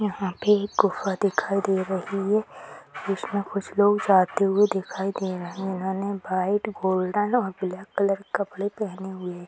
यहाँ पे एक गुफा दिखाई दे रही है कुछ न कुछ लोग जाते हुए दिखाई दे रहे हैं इन्होने व्हाइट गोल्डन और ब्लैक कलर के कपड़े पहने हुए --